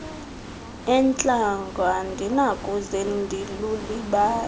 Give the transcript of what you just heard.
entlango andinakuze ndilulibale